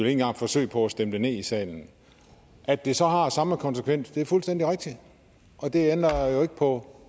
engang forsøge på at stemme det ned i salen at det så har samme konsekvens er fuldstændig rigtigt og det ændrer jo ikke på